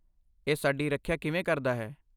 ਇਹ ਸਾਡੀ ਰੱਖਿਆ ਕਿਵੇਂ ਕਰਦਾ ਹੈ?